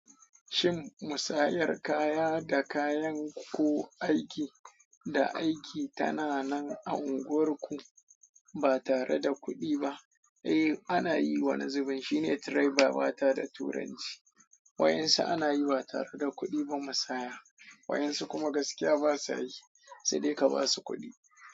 Shin musayar kaya da kayan ko aiki da aiki tana nan a unguwarku ba tareda kuɗi ba? Eh ana yi, wane zubin shine "trade by barter" da turanci. Wa'yansu ana yi ba tareda kuɗi ba musaya, waɗansu kuma gaskiya basa yi sai dai ka basu kuɗi.